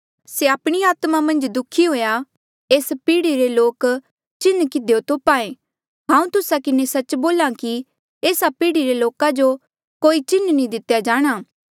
से आपणी आत्मा मन्झ दुःखी हुआ एस पीढ़ी रे लोक चिन्ह किधियो तोप्हा ऐें हांऊँ तुस्सा किन्हें सच्च बोल्हा कि एस्सा पीढ़ी री लोका जो कोई चिन्ह नी दितेया जाणा